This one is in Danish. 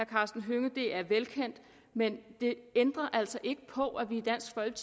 karsten hønge men det ændrer altså ikke på at vi